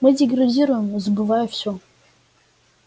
мы деградируем забывая всё